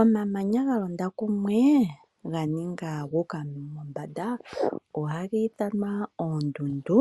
Omamanya ga londa kumwe, ganinga guka mombanda, oha githanwa oondundu.